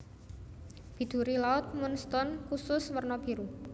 Biduri laut moonstone kusus werna biru